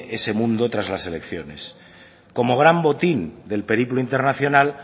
ese mundo tras las elecciones como gran botín del periplo internacional